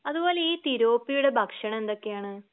അതുപോലെ ഈ തിലോപ്പിയുടെ ഭക്ഷണം എന്തൊക്കെയാണ്?